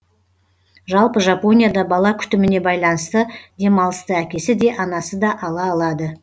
жалпы жапонияда бала күтіміне байланысты демалысты әкесі де анасы да ала алады